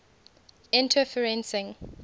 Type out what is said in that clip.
interferencing